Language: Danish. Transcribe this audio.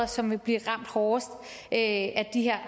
som vil blive ramt hårdest af de her